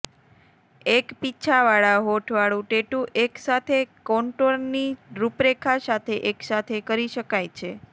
એક પીંછાવાળા હોઠવાળું ટેટૂ એકસાથે કોન્ટૂરની રૂપરેખા સાથે એકસાથે કરી શકાય છે